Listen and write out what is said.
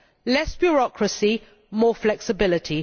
Less bureaucracy, more flexibility.